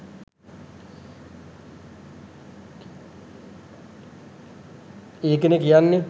ඒකනේ කියන්නෙ